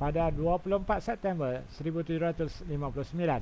pada 24 september 1759